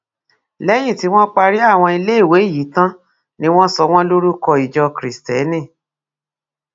lẹyìn tí wọn parí àwọn iléèwé yìí tán ni wọn sọ wọn lórúkọ ìjọ kristẹni